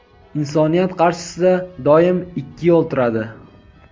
Insoniyat qarshisida doim ikki yo‘l turadi.